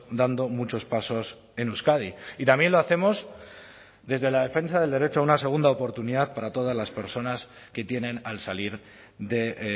dando muchos pasos en euskadi y también lo hacemos desde la defensa del derecho a una segunda oportunidad para todas las personas que tienen al salir de